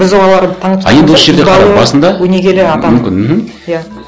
біз оларды өнегелі ата мүмкін мхм иә